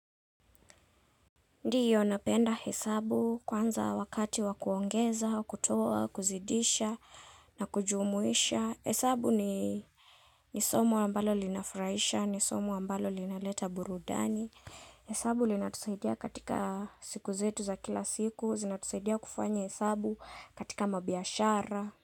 Ndio napenda hesabu kwanza wakati wakuongeza, kutoa, kuzidisha na kujumuisha. Hesabu ni nisomo ambalo linafraisha, nisomo ambalo linaleta burudani. Hesabu linatu saidia katika siku zetu za kila siku, zinatusaidia kufanya hesabu katika mabiashara.